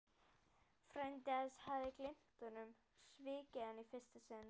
Frændi hans hafði gleymt honum, svikið hann í fyrsta sinn.